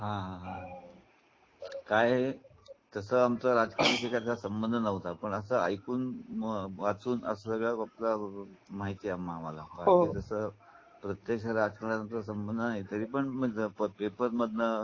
हा काय तसंच आमचं राजकारणाचा संबंध नव्हता पण असा ऐकून अ वाचून असं सगळ प्रत्यक्ष माहिती आहे. मला तसा प्रत्यक्ष राजकारण्याशी संबंध नाही. तेव्हा तरी पण पेपर मधनं